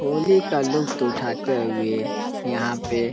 होली का लुफ्त उठाते हुए यहाँ पे ।